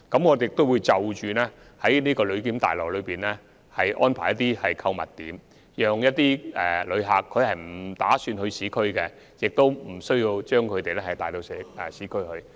我們亦會在旅檢大樓安排一些購物點，令一些不打算前往市區的旅客不會被帶到市區。